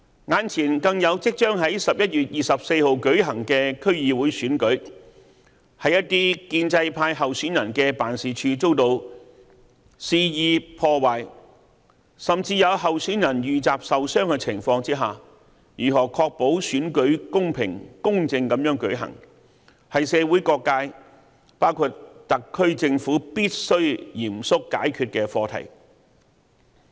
眼前更有即將在11月24日舉行的區議會選舉，在一些建制派候選人的辦事處遭到肆意破壞，甚至有候選人遇襲受傷的情況下，如何確保選舉公平、公正地舉行，是社會各界必須嚴肅解決的課題。